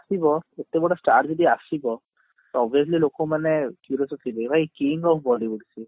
ଏତେ ବଡ star ଯଦି ଆସିବ obviously ଲୋକମାନେ curious ଥିବେ